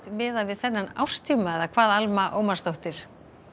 miðað við árstíma eða hvað Alma Ómarsdóttir